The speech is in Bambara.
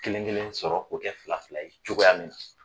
Kelen kelen sɔrɔ ko kɛ fila fila ye cogoya min .